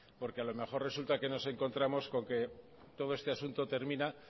porque a lo mejor resulta que nos encontramos con que todo este asunto termina